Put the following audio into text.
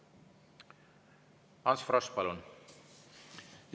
Ants Frosch, palun!